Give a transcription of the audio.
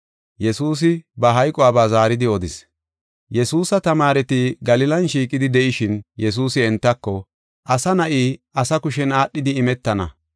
Yesuusa tamaareti Galilan shiiqidi de7ishin Yesuusi entako, “Asa Na7i asa kushen aadhidi imetana.